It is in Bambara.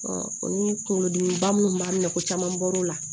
o ni kunkolodimiba minnu b'an minɛ ko caman bɔr'o la